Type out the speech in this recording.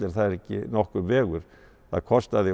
það er ekki nokkur vegur það kostaði